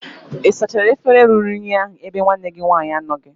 ị sachara efere ruru unyi ahu ebe nwanne gi nwaanyi anọghi?